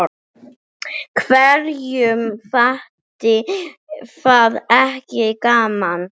Hverjum þætti það ekki gaman?